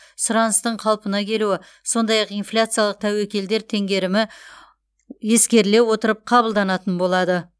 сұраныстың қалпына келуі сондай ақ инфляциялық тәуекелдер теңгерімі ескеріле отырып қабылданатын болады